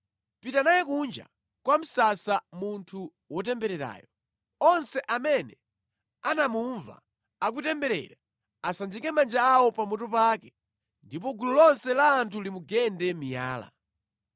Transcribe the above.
“Pita naye kunja kwa msasa munthu wotembererayo. Onse amene anamumva akutemberera asanjike manja awo pamutu pake ndipo gulu lonse la anthu limugende miyala.